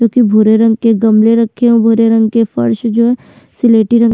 जोकि भुरे रंग के गमले रखे हैं भुरे रंग के फर्श जो है स्लेटी रंग--